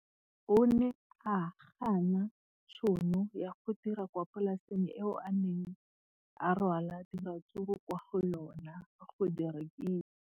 O ne a gana tšhono ya go dira kwa polaseng eo a neng rwala diratsuru kwa go yona go di rekisa.